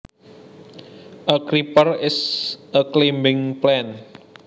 A creeper is a climbing plant